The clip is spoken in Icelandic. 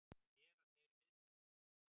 Hvað gera þeir við þær?